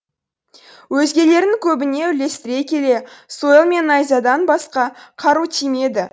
өзгелерінің көбіне үлестіре келе сойыл мен найзадан басқа қару тимеді